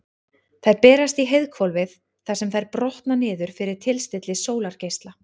Þær berast í heiðhvolfið þar sem þær brotna niður fyrir tilstilli sólargeisla.